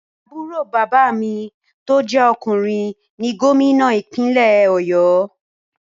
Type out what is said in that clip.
Àbúrò bàbá mi tó jẹ ọkùnrin ni gómìnà ìpínlè ọ̀yọ́.